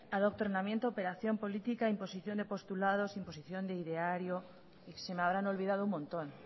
adoctrinamiento operación politica imposición de postulados imposición de ideario y se me habrán olvidado un montón